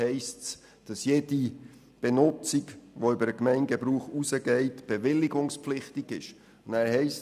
Es heisst, dass jede Benutzung, welche über den Gemeindewillen hinausgeht, bewilligungspflich- tig ist.